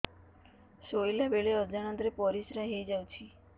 ଶୋଇଲା ବେଳେ ଅଜାଣତ ରେ ପରିସ୍ରା ହେଇଯାଉଛି